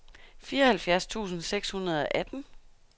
fireoghalvfjerds tusind seks hundrede og atten